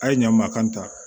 A ye ɲa makan ta